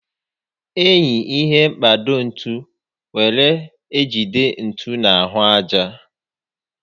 Enyi ihe mkpado ntu were ejide ntu na ahụ aja